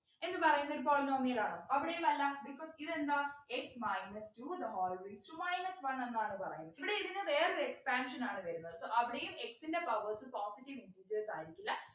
എന്ന് പറയുന്നൊരു polynomial ആണോ അവിടെയും അല്ല because ഇതെന്താ x minus two the whole raised to minus one എന്നാണ് പറയുന്നത് ഇവിടെ ഇതിനു വേറൊരു expansion ആണ് വരുന്നത് so അവിടെയും x ൻ്റെ powers positive integers ആയിരിക്കില്ല